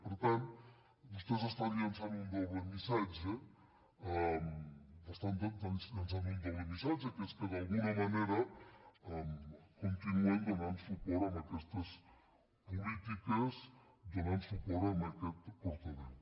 per tant vos·tès estan llançant un doble missatge estan llançant un doble missatge que és que d’alguna manera continu·en donant suport a aquestes polítiques donant suport a aquest portaveu